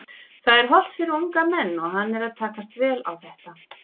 Það er hollt fyrir unga menn og hann er að takast vel á þetta.